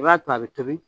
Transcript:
I b'a to a bɛ tobi